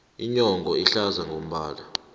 inyongo ihlaza ngombala